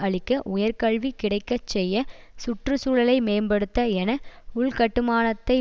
அளிக்க உயர்கல்வி கிடைக்கச்செய்ய சுற்றுச்சூழலை மேம்படுத்த என உள்கட்டுமானத்தை